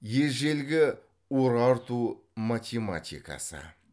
ежелгі урарту математикасы